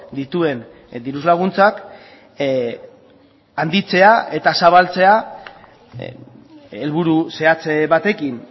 dituen diru laguntzak handitzea eta zabaltzea helburu zehatz batekin